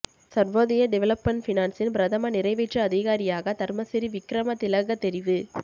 Sarvodaya development ஃபினான்ஸின் பிரதம நிறைவேற்று அதிகாரியாக தர்மசிறி விக்கிரமதிலக தெரிவு